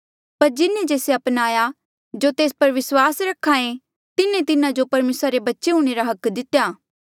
पर जिन्हें से मन्नेया जो तेस पर विस्वास रख्हा ऐें तिन्हें तिन्हा जो परमेसरा रे बच्चे हूंणे रा हक दितेया